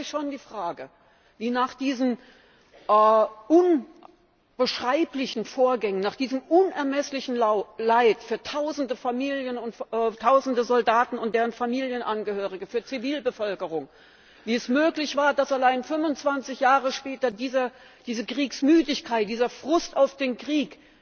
Es stellt sich schon die Frage, wie es nach diesen unbeschreiblichen Vorgängen, nach diesem unermesslichen Leid für Tausende Familien und Tausende Soldaten und deren Familienangehörige, für die Zivilbevölkerung, möglich war, dass schon 25Jahre später diese Kriegsmüdigkeit, dieser Frust auf den Krieg,